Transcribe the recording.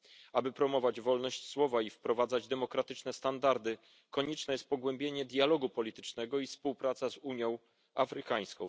Aby promować wolność słowa i wprowadzać demokratyczne standardy, niezbędne jest pogłębienie dialogu politycznego i współpraca z Unią Afrykańską.